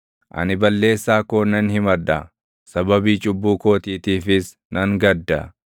Ani balleessaa koo nan himadha; sababii cubbuu kootiitiifis nan gadda.